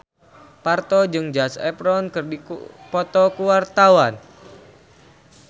Parto jeung Zac Efron keur dipoto ku wartawan